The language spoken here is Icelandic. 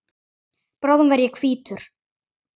Bráðum verð ég hvítur.